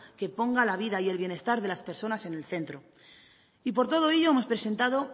que ponga la vida y el bienestar de las personas en el centro y por todo ello hemos presentado